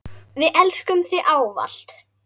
Við elskum þig ávallt.